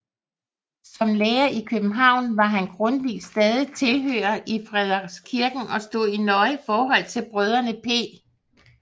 Som lærer i København var han Grundtvigs stadige tilhører i Frederikskirken og stod i nøje forhold til brødrene P